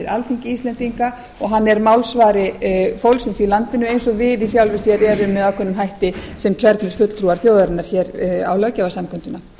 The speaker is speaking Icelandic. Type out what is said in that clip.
alþingi íslendinga og hann er málsvari fólksins í landinu eins og við í sjálfu sér erum með ákveðnum hætti sem kjörnir fulltrúar þjóðarinnar á löggjafarsamkundunni